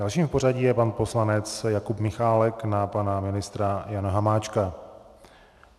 Dalším v pořadí je pan poslanec Jakub Michálek - na pana ministra Jana Hamáčka.